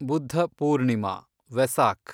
Buddha Purnima, Vesak